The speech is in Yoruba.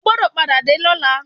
O gbọdọ̀ padà dé lọ́la!